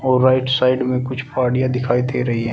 और right side में कुछ पहाड़िया दिखाई दे रही हैं।